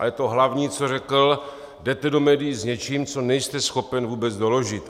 Ale to hlavní, co řekl: Jdete do médií s něčím, co nejste schopen vůbec doložit.